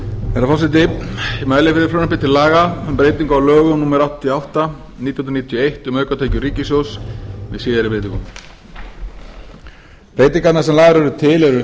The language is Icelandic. herra forseti ég mæli fyrir frumvarpi til laga um breyting á lögum númer áttatíu og átta nítján hundruð níutíu og eitt um aukatekjur ríkissjóðs með síðari breytingum breytingarnar sem lagðar eru til eru